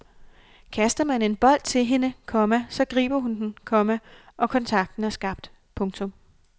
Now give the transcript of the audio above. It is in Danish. Kaster man en bold til hende, komma så griber hun den, komma og kontakten er skabt. punktum